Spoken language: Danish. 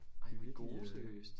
Ej hvor er i gode seriøst